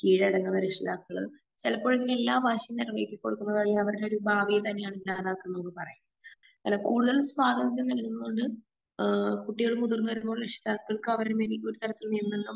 കീഴടങ്ങുന്ന രക്ഷിതാക്കള് ചെലപ്പോഴൊക്കെ എല്ലാ വാശിയും നിറവേറ്റികൊടുക്കുന്നതായി അവരുടൊരു ഭാവിയേ തന്നെ അത് ഇല്ലാതാക്കുന്നതായി പറയാം. അല്ല കൂടുതൽ സ്വാതന്ത്ര്യം നൽകുന്നത് കൊണ്ട് ഏഹ് കുട്ടികൾ മുതിർന്നവരോടുള്ള ഇഷ്ട അവരിൽ നിന്നും